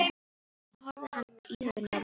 Þá horfði hann íhugandi á mig, en sagði svo: